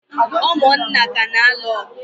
ụmụnna ka na-alụ ọgụ